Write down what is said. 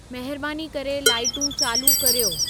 महिरबानी करे लाइटू चालू कर्यो